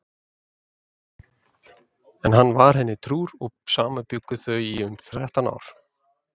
En hann var henni trúr og saman bjuggu þau í um þrettán ár.